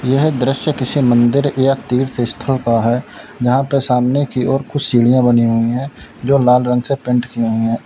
यह दृश्य किसी मंदिर या तीर्थ स्थल का है जहां पे सामने की ओर कुछ सीढ़ियां बनी हुई है जो लाल रंग से पेंट की हुई है।